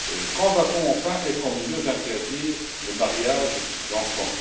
Quand va t on enfin être en mesure d'interdire le mariage d'enfants?